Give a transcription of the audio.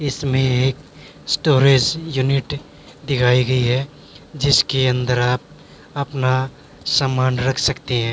इसमें एक storage unit दिखाई गई है जिसके अंदर आप अपना सामान रख सकते हैं।